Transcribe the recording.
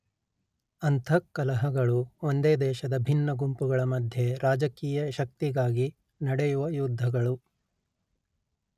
ಅಂತಃಕಲಹಗಳು ಒಂದೇ ದೇಶದ ಭಿನ್ನ ಗುಂಪುಗಳ ಮಧ್ಯೆ ರಾಜಕೀಯ ಶಕ್ತಿಗಾಗಿ ನಡೆಯುವ ಯುದ್ಧಗಳು